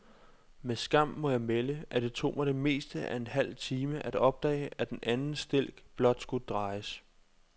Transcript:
Med skam må jeg melde, at det tog mig det meste af en halv time at opdage, at den anden stilk blot skulle drejes.